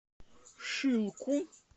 шилку